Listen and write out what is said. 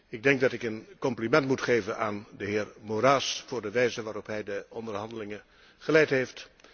Ik denk dat ik een compliment moet geven aan de heer Moraes voor de wijze waarop hij de onderhandelingen geleid heeft.